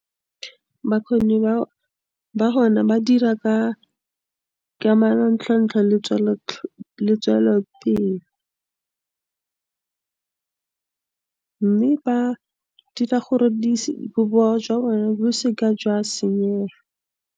Bakgoni ba, ba hona ba dira ka, ka manontlhotlho le tswelelopele, mme ba dira gore di, bobowa jwa bone bo seka jwa senyega.